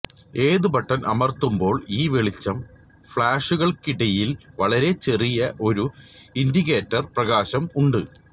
ഏത് ബട്ടൺ അമർത്തുമ്പോൾ ഈ വെളിച്ചം ഫ്ളാഷുകൾക്കിടയിൽ വളരെ ചെറിയ ഒരു ഇൻഡിക്കേറ്റർ പ്രകാശം ഉണ്ട്